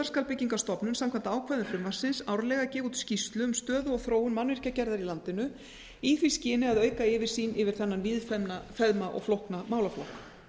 skal byggingarstofnun samkvæmt ákvæðum frumvarpsins árlega gefa út skýrslu um stöðu og þróun mannvirkjagerðar í landinu í því skyni að auka yfirsýn yfir þennan víðfeðma og flókna málaflokk